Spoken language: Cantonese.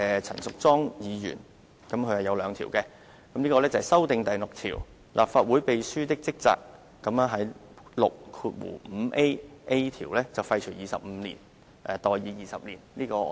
陳淑莊議員亦提出了兩項修訂，包括修訂第6條，在第 6a 條廢除 "25 年"而代以 "20 年"。